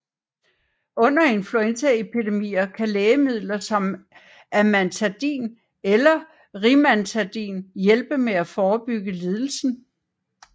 Under influenzaepidemier kan lægemidler som amantadin eller rimantadin hjælpe med at forebygge lidelsen